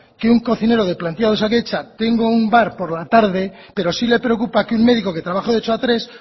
que un cocinero de plantilla de osakidetza tenga un bar por la tarde pero sí le preocupa que un medico que trabaja de ocho a tres